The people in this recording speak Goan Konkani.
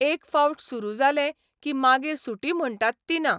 एक फावट सुरू जालें की मागीर सुटी म्हणटात ती ना.